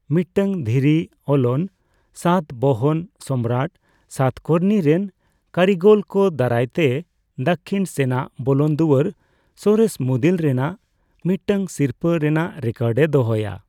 ᱢᱤᱫᱴᱟᱝ ᱫᱷᱤᱨᱤᱼᱚᱞᱚᱱ ᱥᱟᱛᱵᱟᱦᱚᱱ ᱥᱚᱢᱨᱟᱴ ᱥᱟᱛᱠᱚᱨᱱᱤ ᱨᱮᱱ ᱠᱟᱹᱨᱤᱜᱚᱞ ᱠᱚ ᱫᱟᱨᱟᱭ ᱛᱮ ᱫᱟᱹᱠᱷᱤᱱ ᱥᱮᱱᱟᱜ ᱵᱚᱞᱚᱱ ᱫᱩᱣᱟᱹᱨ ᱥᱚᱨᱮᱥ ᱢᱩᱫᱤᱨ ᱨᱮᱭᱟᱜ ᱢᱤᱫᱴᱟᱝ ᱥᱤᱨᱯᱟᱹ ᱨᱮᱱᱟᱜ ᱨᱮᱠᱚᱨᱰ ᱮ ᱫᱚᱦᱚᱭᱟ ᱾